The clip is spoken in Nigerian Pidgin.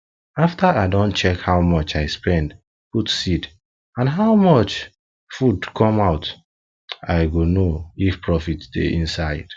after i don check how much i spend put seed and how much food come out i go know if profit dey inside